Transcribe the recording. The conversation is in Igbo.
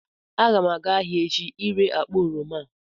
Aga m aga ahịa echi ire akpa oroma a